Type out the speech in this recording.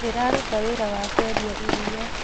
Ndĩraruta wĩra wa kwendia iria